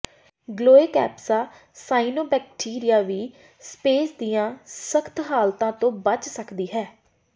Gloeocapsa cyanobacteria ਵੀ space ਦੀਆਂ ਸਖ਼ਤ ਹਾਲਤਾਂ ਤੋਂ ਬਚ ਸਕਦੀ ਹੈ